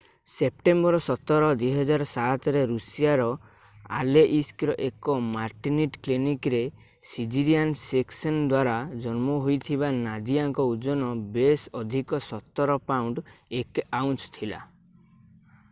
September 17 2007ରେ ଋଷିଆର ଆଲେଇସ୍କର ଏକ ମାଟର୍ନିଟି କ୍ଲିନିକରେ ସିଜରିଆନ୍ ସେକ୍ସନ୍ ଦ୍ୱାରା ଜନ୍ମ ହୋଇଥିବା ନାଦିଆଙ୍କର ଓଜନ ବେଶ୍ ଅଧିକ 17 ପାଉଣ୍ଡ 1 ଆଉନ୍ସ ଥିଲା